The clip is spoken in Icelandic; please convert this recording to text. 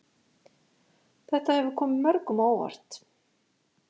Þetta hefur komið mörgum á óvart